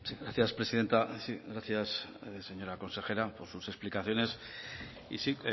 gracias presidenta gracias señora consejera por sus explicaciones y sí